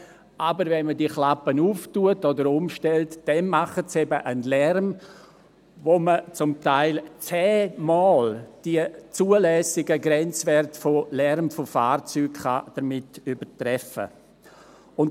Aber wenn man die Klappe öffnet oder umstellt, dann verursachen sie eben einen Lärm, mit dem man zum Teil die für Fahrzeuge zulässigen Lärmgrenzwerte um das Zehnfache übertreffen kann.